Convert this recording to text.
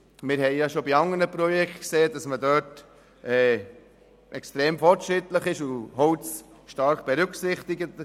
Wir haben auch schon bei andern Projekten festgestellt, dass sich die BVE extrem fortschrittlich verhält und Holz stark berücksichtigt.